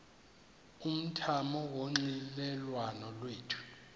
umthamo wonxielelwano lwethu